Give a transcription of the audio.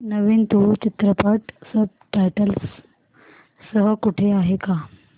नवीन तुळू चित्रपट subtitles सह कुठे आहे का